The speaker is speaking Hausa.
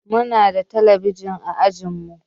Muna da talabijin a ajinmu